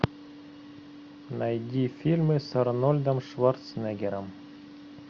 найди фильмы с арнольдом шварценеггером